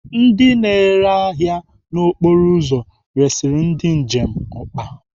Ndị na-ere ahịa n'okporo ụzọ resiri ndị njem ọkpa.